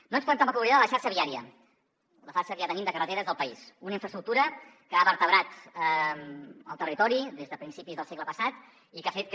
no ens podem tampoc oblidar de la xarxa viària la xarxa que ja tenim de carreteres del país una infraestructura que ha vertebrat el territori des de principis del segle passat i que ha fet que